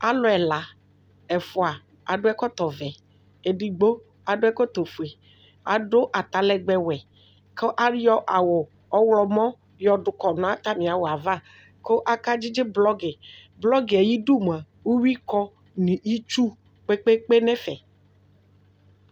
alʋ ɛla, ɛƒʋa akɔ ɛkɔtɔ vɛ ɛdigbɔ adʋ ɛkɔtɔ ƒʋɛ adʋ atalɛgbɛ wɛ kʋ ayɔ awʋ ɔwlɔmɔ yɔdʋ kɔdʋ nʋ atami awʋɛ aɣa kʋ aka dzidzi blocki, blockiɛ ayidʋ mʋa ʋwi kɔ nʋ itsʋ kpekpe nʋ ɛƒɛ